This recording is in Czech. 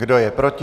Kdo je proti?